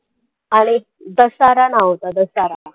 अरे दशहरा नाव होतं दशहरा